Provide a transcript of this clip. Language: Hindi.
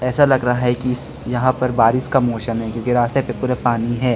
ऐसा लग रहा है कि इस यहां पर बारिश का मौसम है क्योंकि रास्ते पे पूरे पानी है।